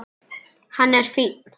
Hann er fínn.